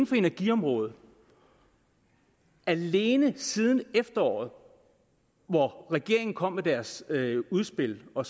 for energiområdet alene siden efteråret hvor regeringen kom med deres udspil og